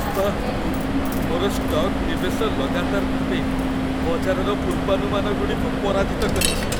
ବାଃ, ମୋର ଷ୍ଟକ୍ ନିବେଶ ଲଗାତାର ଭାବେ ବଜାରର ପୂର୍ବାନୁମାନଗୁଡ଼ିକୁ ପରାଜିତ କରିଛି।